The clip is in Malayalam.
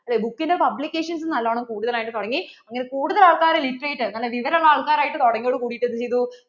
book ന്‍റെ publications നല്ലോണം കൂടുതൽ ആയിട്ട് തുടങ്ങി ഇങ്ങനെ കൂടുതൽ ആൾകാർ literate നല്ല വിവരം ഉള്ള ആൾക്കാര് ആയിട്ട് തുടങ്ങിയതോടു കൂടിട്ട് എന്ത് ചെയ്തു